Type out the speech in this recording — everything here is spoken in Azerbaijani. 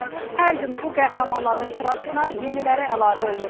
Hər gün bu qəhrəmanların sırasına yeniləri əlavə olunur.